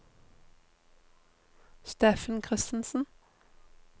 Steffen Kristensen